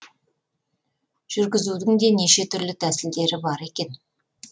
жүргізудің де неше түрлі тәсілдері бар екен